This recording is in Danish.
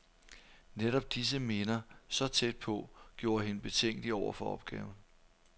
Netop disse minder, så tæt på, gjorde hende betænkelig over for opgaven.